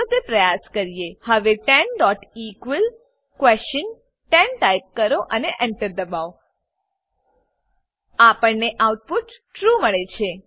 ચાલો તે પ્રયાસ કરીએ હવે 10 eql10 ટાઈપ કરો અને Enter દબાવો આપણને આઉટપુટ ટ્રૂ ટ્રૂ મળે છે